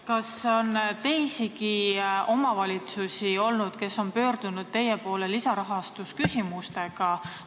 Kas on teisigi omavalitsusi, kes on pöördunud teie poole lisarahastusküsimustega?